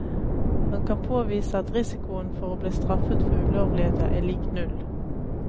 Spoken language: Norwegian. Han kan påvise at risikoen for å bli straffet for ulovligheter er lik null.